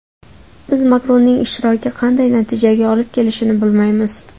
Biz Makronning ishtiroki qanday natijaga olib kelishini bilmaymiz.